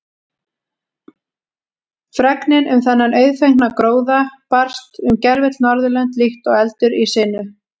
Fregnin um þennan auðfengna gróða barst um gervöll Norðurlönd líkt og eldur í sinu.